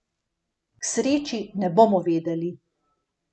K sreči ne bomo vedeli.